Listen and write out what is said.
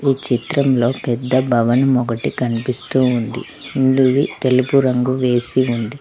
ఈ చిత్రంలో పెద్ద భవనం ఒకటి కనిపిస్తూ ఉంది ముందువి తెలుపు రంగు వేసి ఉంది.